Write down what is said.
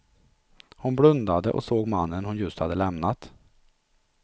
Hon blundade och såg mannen hon just hade lämnat.